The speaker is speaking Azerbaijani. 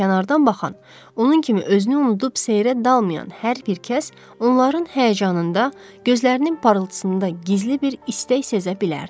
Amma kənardan baxan, onun kimi özünü unudub seyrə dalmayan hər bir kəs, onların həyəcanında, gözlərinin parıltısında gizli bir istək sezə bilərdi.